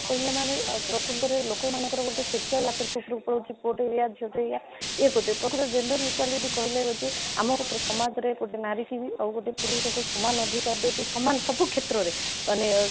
equity ମାନ ପ୍ରକୃତରେ ଲୋକ ମାନଙ୍କର ଗୋଟେ social ଆକୃତି ସ୍ୱରୂପ ଅଛି ପୁଅଟି ହେଲା ଝିଅ ଟି ହେଲା ଏଇ ଏପଟେ ପ୍ରକୃତରେ gender equity କହିଲେ ହେଉଛି ଆମର ସମାଜରେ ଗୋଟେ ନାରୀ କି ବି ଆଉ ଗୋଟେ ପୁରୁଷକୁ ସମାନ ସବୁ କ୍ଷେତ୍ରରେ ଆମେ